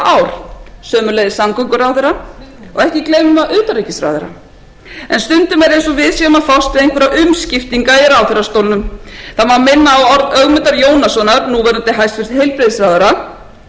ár sömuleiðis samgönguráðherra og ekki gleymir maður utanríkisráðherra en stundum er eins og við séum að fást við einhverja umskiptinga í ráðherrastólunum það má minna á orð ögmundar jónassonar núverandi hæstvirtum heilbrigðisráðherra sem sagði á heimasíðu